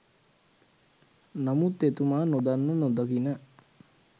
නමුත් එතුමා නොදන්න නොදකින